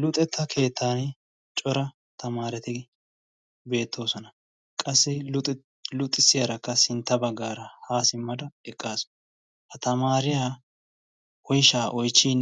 luxetta keettan cora tamaareti beettoosona qassi luxissiyaarakka sintta baggaara haa simmada eqqaasu. ha tamaariyaa oishaa oichchin